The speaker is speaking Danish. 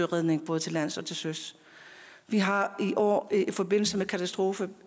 redning både til lands og til søs vi har i år i forbindelse med katastrofen